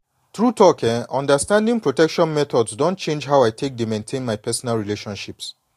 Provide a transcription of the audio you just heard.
true talk eh understanding protection methods don change how i take dey maintain my personal relationships.